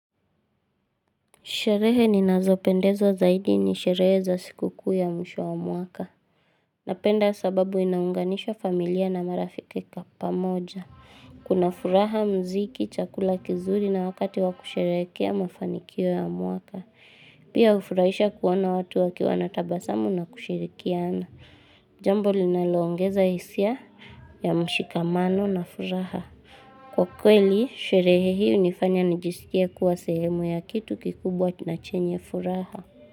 Sherehe ni nazopendezo zaidi ni sherehe za sikuku ya msho wa mwaka. Napenda sababu inaunganisha familia na marafiki kapa moja. Kuna furaha mziki, chakula kizuri na wakati wakusherekea mafanikio ya mwaka. Pia hufuraisha kuona watu waki wana tabasamu na kushirikiana. Jambo linaloongeza isia ya mshikamano na furaha. Kwa kweli, sherehe hii unifanya nijisikie kuwa sehemu ya kitu kikubwa tunachenye furaha.